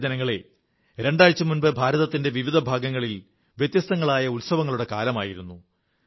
പ്രിയപ്പെട്ട ജനങ്ങളേ രണ്ടാഴ്ച മുമ്പ് ഭാരതത്തിന്റെ വിവിധ ഭാഗങ്ങളിൽ വ്യത്യസ്തങ്ങളായ ഉത്സവങ്ങളുടെ മേളമായിരുന്നു